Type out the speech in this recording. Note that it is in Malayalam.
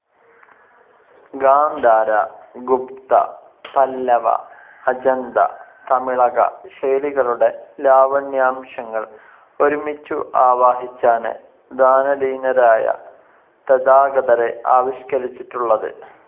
ഗാന്ധാര, ഗുപ്ത, പല്ലവ, അജന്ത തമിളക ശൈലികളുടെ ലാവണ്യാംശങ്ങൾ ഒരുമിച്ചു ആവാഹിച്ചാണ് ധ്യാനലീനരായ തഥാഗതരെ ആവിഷ്‌കരിച്ചിട്ടുള്ളത്.